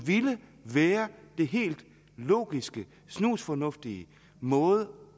ville være den helt logiske snusfornuftige måde